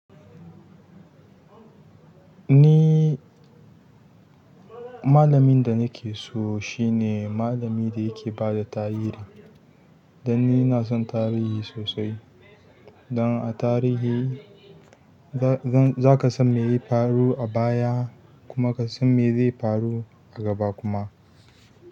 Ni malamin da nake so shine malami da yake bada tarihi. Dan ni na son tarihi sosai. Don a tarihi zaka san meya faru abaya kuma ka san me zai faru a gaba kuma.